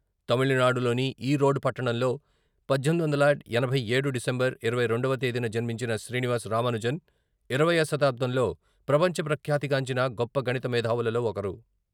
తమిళనాడులోని ఈరోడ్ పట్టణంలో పద్దెనిమిది వందల ఎనభై ఏడు డిసెంబర్ ఇరవై రెండవ తేదీన జన్మించిన శ్రీనివాస రామానుజన్ ఇరవైవ శతాబ్ధంలో ప్రపంచ ప్రఖ్యాతిగాంచిన గొప్ప గణిత మేధావులలో ఒకరు.